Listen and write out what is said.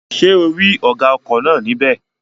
Ṣé ò rí ọ̀gá ọkọ̀ náà ní bẹ̀?